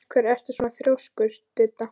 Af hverju ertu svona þrjóskur, Didda?